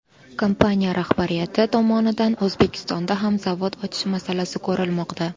Kompaniya rahbariyati tomonidan O‘zbekistonda ham zavod ochish masalasi ko‘rilmoqda.